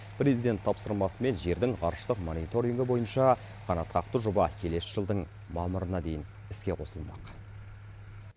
президент тапсырмасымен жердің ғарыштық мониторингі бойынша қанатқақты жоба келесі жылдың мамырына дейін іске қосылмақ